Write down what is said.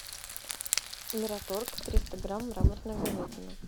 мираторг триста грамм мраморная говядина